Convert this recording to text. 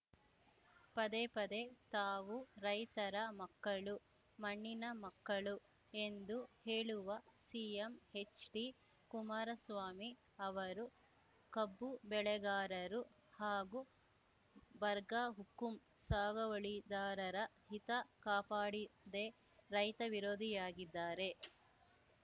ಪದೇ ಪದೆ ತಾವು ರೈತರ ಮಕ್ಕಳು ಮಣ್ಣಿನ ಮಕ್ಕಳು ಎಂದು ಹೇಳುವ ಸಿಎಂ ಎಚ್‌ಡಿಕುಮಾರಸ್ವಾಮಿ ಅವರು ಕಬ್ಬು ಬೆಳೆಗಾರರು ಹಾಗೂ ಬರ್ಗಾ ಹುಕುಂ ಸಾಗವಳಿದಾರರ ಹಿತ ಕಾಪಾಡಿದೆ ರೈತ ವಿರೋಧಿಯಾಗಿದ್ದಾರೆ